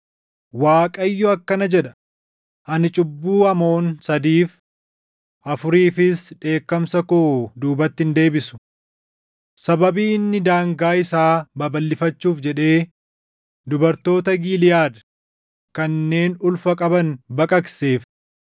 Waaqayyo akkana jedha: “Ani cubbuu Amoon sadiif, afuriifis dheekkamsa koo duubatti hin deebisu. Sababii inni daangaa isaa babalʼifachuuf jedhee dubartoota Giliʼaad kanneen ulfa qaban baqaqseef